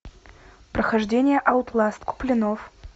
прохождение аутласт куплинов